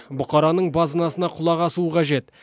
бұқараның базынасына құлақ асуы қажет